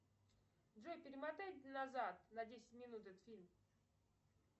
джой перемотай назад на десять минут этот фильм